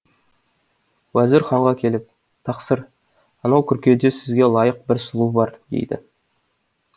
уазір ханға келіп тақсыр анау күркеде сізге лайық бір сұлу бар дейді